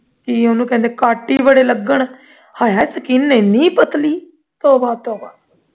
ਕੀ ਉਹਨੂੰ ਕਹਿੰਦੇ cut ਹੀ ਬੜੇ ਲੱਗਣ ਹਾਏ ਹਾਏ skin ਇੰਨੀ ਪਤਲੀ ਤੋਬਾ ਤੋਬਾ